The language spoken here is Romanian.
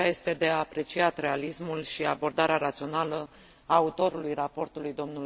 De aceea, este de apreciat realismul și abordarea rațională a autorului raportului, dl.